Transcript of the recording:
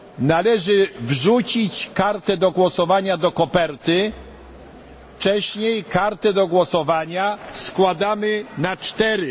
Należy wrzucić kartę do głosowania do koperty, wcześniej kartę do głosowania składamy na cztery.